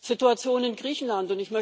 Situation in Griechenland.